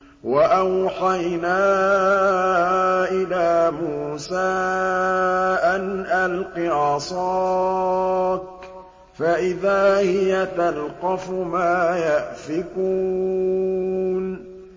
۞ وَأَوْحَيْنَا إِلَىٰ مُوسَىٰ أَنْ أَلْقِ عَصَاكَ ۖ فَإِذَا هِيَ تَلْقَفُ مَا يَأْفِكُونَ